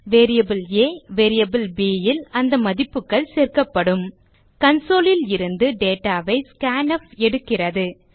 variable ஆ மற்றும் variable bல் அந்த மதிப்புகள் சேமிக்கப்படும் கன்சோல் லிருந்து டேட்டா ஐ scanf எடுக்கிறது